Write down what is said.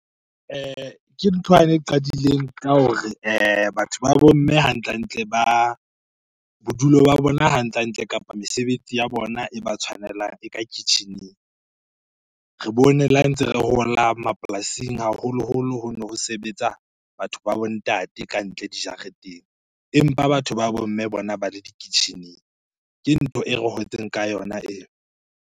Ke nthwane e qadileng ka hore batho ba bo mme hantle-hantle ba, bodulo ba bona hantle-hantle kapa mesebetsi ya bona e ba tshwanelang e ka kitchen-eng. Re bone le ha ntse re hola mapolasing haholoholo hono ho sebetsa batho ba bo ntate ka ntle dijareteng empa batho ba bo mme bona ba le di-kitchen-eng. Ke ntho e re hotseng ka yona eo.